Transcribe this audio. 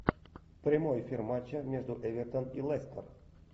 прямой эфир матча между эвертон и лестер